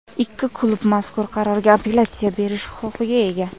Ikki klub mazkur qarorga apellyatsiya berish huquqiga ega.